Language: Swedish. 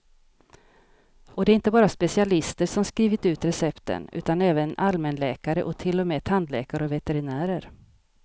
Och det är inte bara specialister som skrivit ut recepten, utan även allmänläkare och till och med tandläkare och veterinärer.